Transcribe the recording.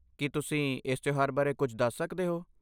ਕੀ ਤੁਸੀਂ ਇਸ ਤਿਉਹਾਰ ਬਾਰੇ ਕੁਝ ਦੱਸ ਸਕਦੇ ਹੋ?